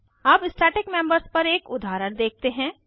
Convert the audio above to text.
अब static members पर एक उदाहरण देखते हैं